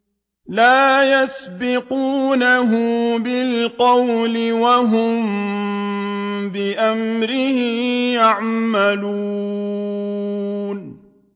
لَا يَسْبِقُونَهُ بِالْقَوْلِ وَهُم بِأَمْرِهِ يَعْمَلُونَ